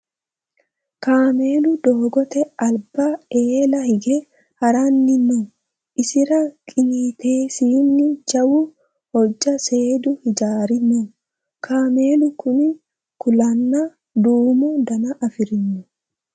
Kaamelu doogote alba eela hige haranni no. Isira qiniitesini jawu hojja seedu hijaari no. Kaamelu Kuni kuulanna duumo Dana afirino.